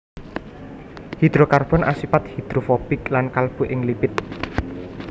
Hidrokarbon asipat hidrofobik lan kalebu ing lipid